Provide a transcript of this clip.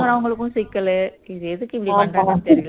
இறங்குறவங்களுக்கும் சிக்கலு இது எதுக்கு இப்படி பண்றாங்கன்னு தெரியல